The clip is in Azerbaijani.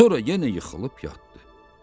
Sonra yenə yıxılıb yatdı.